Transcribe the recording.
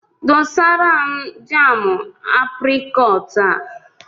Dosara m jaamụ aprịkọọt a!